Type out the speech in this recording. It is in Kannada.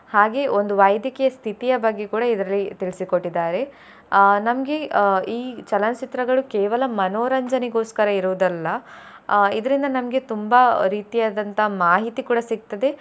ಹಾಗೆ ಒಂದು ವೈದ್ಯಕೀಯ ಸ್ಥಿತಿಯ ಬಗ್ಗೆ ಕೂಡಾ ಇದರಲ್ಲಿ ತಿಳಿಸಿ ಕೊಟ್ಟಿದ್ದಾರೆ ಅಹ್ ನಮ್ಗೆ ಅಹ್ ಈ ಚಲನಚಿತ್ರಗಳು ಕೇವಲ ಮನೋರಂಜನೆಗೋಸ್ಕರ ಇರೋದಲ್ಲ ಅಹ್ ಇದ್ರಿಂದ ನಮ್ಗೆ ತುಂಬಾ ರೀತಿಯಾದಂತ ಮಾಹಿತಿ ಕೂಡ ಸಿಗ್ತದೆ.